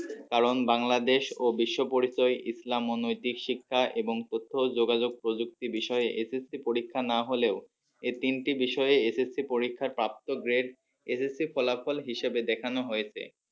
কারণ বাংলাদেশ ও বিশ্ব পরিচয় ইসলাম ও নৈতিক শিক্ষা এবং তথ্য যোগাযোগ প্রযুক্তি বিষয়ে SSC পরীক্ষা না হলেও এই তিনটি বিষয়ে SSC পরীক্ষার প্রাপ্ত great SSC ফলাফল হিসেবে দেখানো হয়েছে।